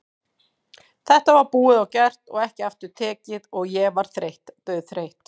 Þetta var búið og gert og ekki aftur tekið og ég var þreytt, dauðþreytt.